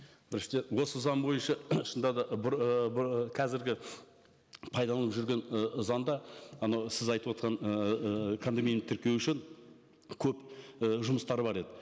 біріншіден осы заң бойынша шынында да қазіргі пайдаланып жүрген ы заңда анау сіз айтып отырған ыыы кондоминиум тіркеу үшін көп і жұмыстары бар еді